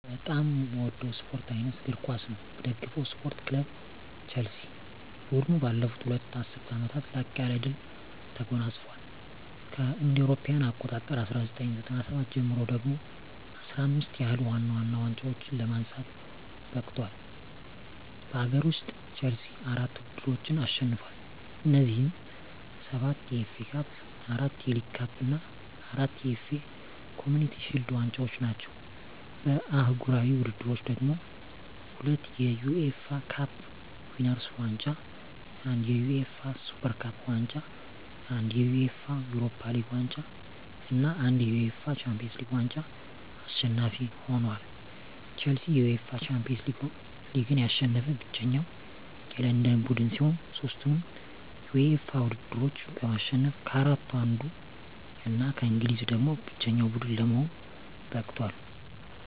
በጣም ምወደው ስፓርት አይነት እግር ኳስ ነው። ምደግፈው ስፓርት ክለብ ቸልሲ። ቡድኑ ባለፉት ሁለት ዐሥርት ዓመታት ላቅ ያለ ድል ተጎናጽፏል። ከእ.ኤ.አ 1997 ጀምሮ ደግሞ 15 ያህል ዋና ዋና ዋንጫዎችን ለማንሳት በቅቷል። በአገር ውስጥ፣ ቼልሲ አራት ውድድሮችን አሸንፏል። እነዚህም፤ ሰባት የኤፍ ኤ ካፕ፣ አራት የሊግ ካፕ እና አራት የኤፍ ኤ ኮምዩኒቲ ሺልድ ዋንጫዎች ናቸው። በአህጉራዊ ውድድሮች ደግሞ፤ ሁለት የዩኤፋ ካፕ ዊነርስ ዋንጫ፣ አንድ የዩኤፋ ሱፐር ካፕ ዋንጫ፣ አንድ የዩኤፋ ዩሮፓ ሊግ ዋንጫ እና አንድ የዩኤፋ ሻምፒዮንስ ሊግ ዋንጫ አሸናፊ ሆኖአል። ቼልሲ የዩኤፋ ሻምፒዮንስ ሊግን ያሸነፈ ብቸኛው የለንደን ቡድን ሲሆን፣ ሦስቱንም የዩኤፋ ውድድሮች በማሸነፍ ከአራቱ አንዱ እና ከእንግሊዝ ደግሞ ብቸኛው ቡድን ለመሆን በቅቷል።